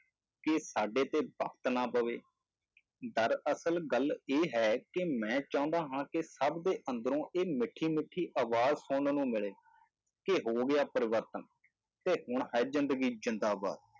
ਕਿ ਸਾਡੇ ਤੇ ਵਕਤ ਨਾ ਪਵੇ, ਦਰਅਸਲ ਗੱਲ ਇਹ ਹੈ ਕਿ ਮੈਂ ਚਾਹੁੰਦਾ ਹਾਂ ਕਿ ਸਭ ਦੇ ਅੰਦਰੋਂ ਇਹ ਮਿੱਠੀ ਮਿੱਠੀ ਆਵਾਜ਼ ਸੁਣਨ ਨੂੰ ਮਿਲੇ, ਕਿ ਹੋ ਗਿਆ ਪਰਿਵਰਤਨ ਤੇ ਹੁਣ ਹੈ ਜ਼ਿੰਦਗੀ ਜ਼ਿੰਦਾਬਾਦ।